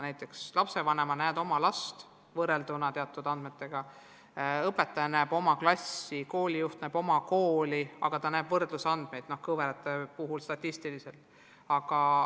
Näiteks lapsevanem näeb oma last võrrelduna teiste teatud lastega, õpetaja näeb oma klassi, koolijuht näeb oma kooli, aga ta näeb võrdlusandmeid ka statistiliselt.